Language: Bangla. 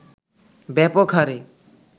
ব্যাপক হারে